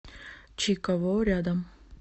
чи каво рядом